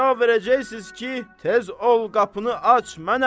Siz cavab verəcəksiniz ki, tez ol qapını aç, mənəm!